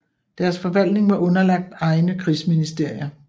Deres forvaltning var underlagt egne krigsministerier